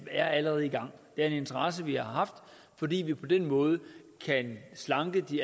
er allerede i gang det er en interesse vi har haft fordi vi på den måde kan slanke de